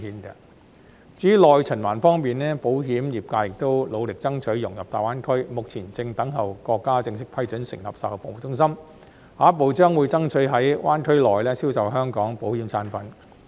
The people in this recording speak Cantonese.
至於內循環方面，保險業界亦努力爭取融入大灣區，目前正等候國家正式批准成立售後服務中心，下一步將會爭取在灣區內銷售香港保險產品。